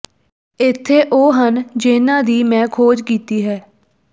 ਇੱਥੇ ਉਹ ਹਨ ਜਿਨ੍ਹਾਂ ਦੀ ਮੈਂ ਖੋਜ ਕੀਤੀ ਹੈ